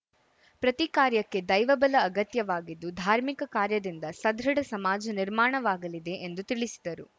ಪ್ರತಿ ಕಾರ್ಯಕ್ಕೆ ದೈವ ಬಲ ಅಗತ್ಯವಾಗಿದ್ದು ಧಾರ್ಮಿಕ ಕಾರ್ಯದಿಂದ ಸದೃಢ ಸಮಾಜ ನಿರ್ಮಾಣವಾಗಲಿದೆ ಎಂದು ತಿಳಿಸಿದರು